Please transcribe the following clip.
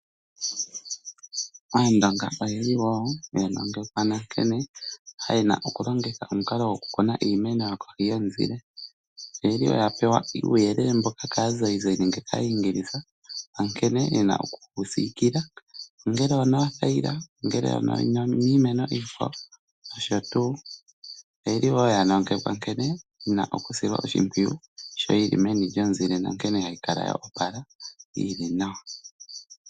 Aandonga oya nongekwa nkene ye na okulongitha omukalo gokukuna iimeno kohi yomuzile. Oya pewa uuyelele mboka kaazayizayi nenge kAayingilisa nkene ye na oku yi siikila, ongele onoothayila nenge niimeno iikwawo nosho tuu. Oya nongekwa wo nkene ye na oku yi sila oshimpwiyu shi yi li meni lyomuzile nankene hayi kala yo opala yi li nawa.